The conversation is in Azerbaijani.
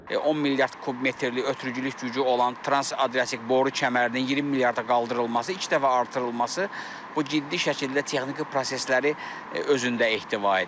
10 milyard kubmetrlik ötürücülük gücü olan transadriatik boru kəmərinin 20 milyarda qaldırılması, ilk dəfə artırılması bu ciddi şəkildə texniki prosesləri özündə ehtiva edir.